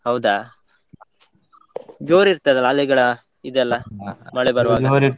ಹೌದಾ! ಜೋರ್ ಇರ್ತದಲ ಅಲೆಗಳ ಇದೆಲ್ಲ ಮಳೆ ಬರ್ವಾಗ?